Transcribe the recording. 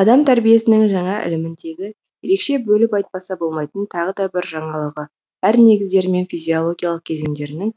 адам тәрбиесінің жаңа іліміндегі ерекше бөліп айтпаса болмайтын тағыда бір жаңалығы әр негіздері мен физиологиялық кезеңдерінің